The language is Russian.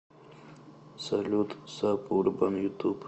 салют саб урбан ютуб